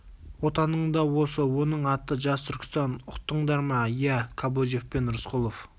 отаның да осы оның аты жас түркістан ұқтыңдар ма иә кобозев пен рысқұлов